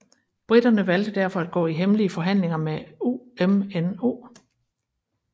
Briterne valgte derfor at gå i hemmelige forhandlinger med UMNO